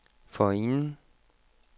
forinden